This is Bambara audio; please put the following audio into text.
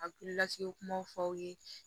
A hakili lasigi kumaw fɔ aw ye